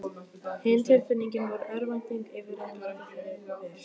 Hin tilfinningin var örvæntingin yfir að glata þeirri vel